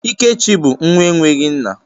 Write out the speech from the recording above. Ikechi bụ nwa enweghị nna.